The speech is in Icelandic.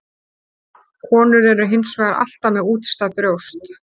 Konur eru hins vegar alltaf með útstæð brjóst.